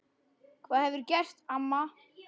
Hvað hefurðu gert amma?